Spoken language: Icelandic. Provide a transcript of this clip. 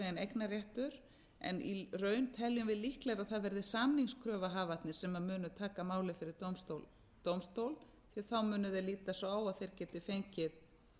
eignarréttur en í raun teljum við líklegra að það verði samningskröfuhafarnir sem munu taka málið fyrir dómstól því þá munu þeir líta svo á að þeir geti fengið